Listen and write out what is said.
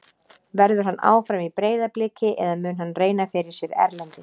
Verður hann áfram í Breiðabliki eða mun hann reyna fyrir sér erlendis?